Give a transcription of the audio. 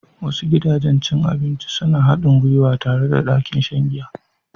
Wasu gidajen cin abinci suna haɗin gwiwa tare da ɗakin shan giya.